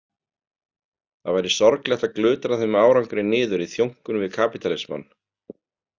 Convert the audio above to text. Það væri sorglegt að glutra þeim árangri niður í þjónkun við kapítalismann.